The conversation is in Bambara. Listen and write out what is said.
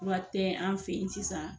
Fura tɛ an fɛ ye sisan.